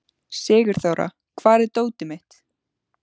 Sigurþóra, hvar er dótið mitt?